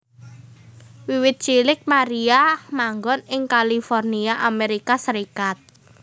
Wiwit cilik Maria manggon ing California Amerika Serikat